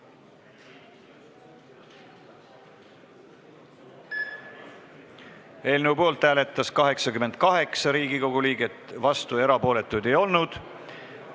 Hääletustulemused Eelnõu poolt hääletas 88 Riigikogu liiget, vastuolijaid ega erapooletuid ei olnud.